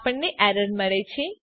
આપણને એરર મળે છે